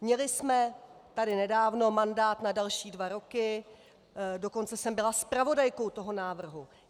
Měli jsme tady nedávno mandát na další dva roky, dokonce jsem byla zpravodajkou toho návrhu.